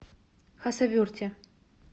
хасавюрте